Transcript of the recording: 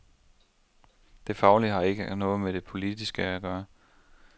Det faglige har ikke noget med det politiske at gøre.